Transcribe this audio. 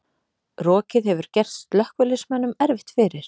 Rokið hefur gert slökkviliðsmönnum erfitt fyrir